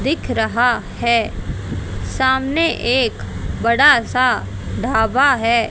दिख रहा है सामने एक बड़ा सा ढाबा है।